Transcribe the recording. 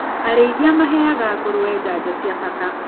Arĩithia maheaga ngũrũwe janjo cia bata.